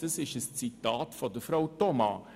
» Dies ist ein Zitat von Frau Thoma.